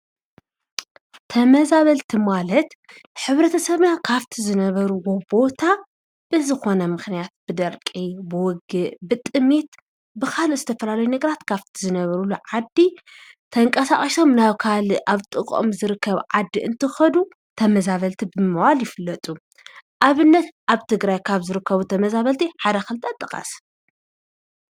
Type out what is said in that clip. ተመዛበልቲ ማለት ሕ/ሰብና ካብቲ ዝነበርዎ ቦታ ብዝኮነ ምክንያት ብድርቂ፣ ብውግእ ፣ብጥምየት፣ ብካልእ ዝተፈላላዩ ነገራት ካብቲ ዝነብሩሉ ዓዲ ተንቃሳቅሶም ናብ ካልእ ናብ ጥቅኦም ዝርከብ ዓዲ ክከዱ ተመዛበልቲ ብምባል ይፍለጥ:: ኣብነት ኣብ ትግራይ ካብ ዝርከቡ ተመዛብልቲ ሓደ ክልቲ ጥቀስ?